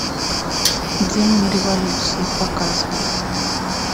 демон революции показывай